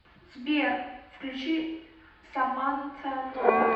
сбер включи саманта нова